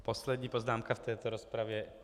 Poslední poznámka v této rozpravě.